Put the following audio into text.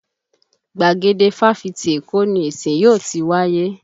Gbàgede Fáfitì Èkó ni ìsìn yóò ti wáyé.